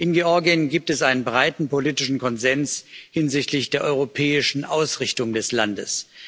In Georgien gibt es einen breiten politischen Konsens hinsichtlich der europäischen Ausrichtung des Landes.